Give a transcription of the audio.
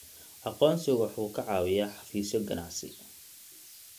Aqoonsigu waxa uu ka caawiyaa xafiisyo ganacsi.